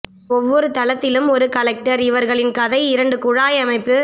ஒவ்வொரு தளத்திலும் ஒரு கலெக்டர் இவர்களின் கதை இரண்டு குழாய் அமைப்பு